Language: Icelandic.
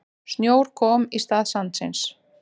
Snjór kom í stað sandsins.